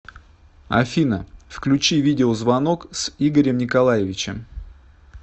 афина включи видеозвонок с игорем николаевичем